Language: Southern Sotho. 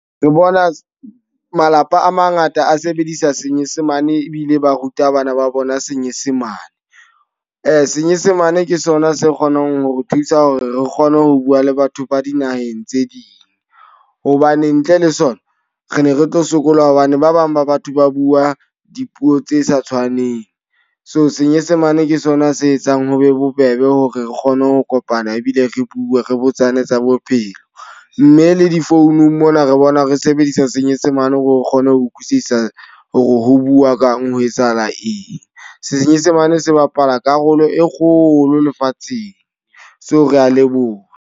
Re bona malapa a mangata a sebedisa senyesemane ebile ba ruta bana ba bona senyesemane. Senyesemane ke sona se kgonang hore thusa hore re kgone ho bua le batho ba dinaheng tse ding. Hobane ntle le sona re ne re tlo sokola hobane ba bang ba batho ba bua dipuo tse sa tshwaneng. So senyesemane ke sona se etsang ho be bobebe hore re kgone ho kopana ebile re bue, re botsane tsa bophelo. Mme le difounung mona re bona re sebedisa senyesemane hore o kgone ho utlwisisa hore ho bua kang, ho etsahala eng. Senyesemane se bapala karolo e kgolo lefatsheng. So re a leboha.